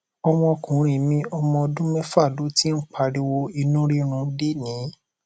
ọmọkùnrin mi ọmọ ọdún méfà ló ti ń pariwo inú rírun lénìí